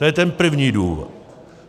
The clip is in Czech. To je ten první důvod.